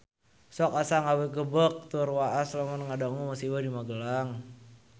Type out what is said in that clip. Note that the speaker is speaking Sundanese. Sok asa ngagebeg tur waas lamun ngadangu musibah di Magelang